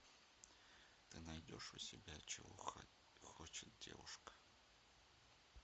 ты найдешь у себя чего хочет девушка